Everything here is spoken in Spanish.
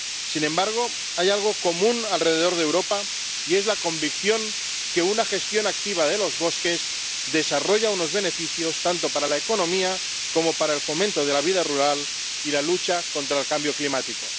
Sin embargo, hay algo común alrededor de Europa, y es la convicción de que una gestión activa de los bosques desarrolla unos beneficios, tanto para la economía como para el fomento de la vida rural y la lucha contra el cambio climático.